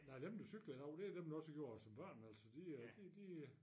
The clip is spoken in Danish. Nej dem der cykler i dag det dem der også gjorde det som børn altså de de øh